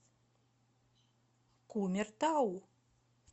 кумертау